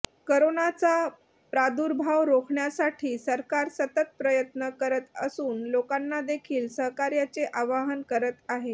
करोनाचा प्रादुर्भाव रोखण्यासाठी सरकार सतत प्रयत्न करत असून लोकांना देखील सहकार्याचे आवहन करत आहे